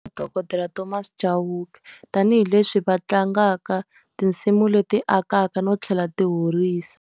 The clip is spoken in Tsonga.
Dokodela Thomas Chauke. Tanihi leswi va tlangaka tinsimu leti akaka no tlhela ti horisa.